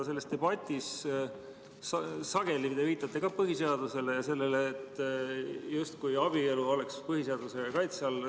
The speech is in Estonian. Selles debatis te viitate ka sageli põhiseadusele ja sellele, justkui abielu oleks põhiseaduse kaitse all.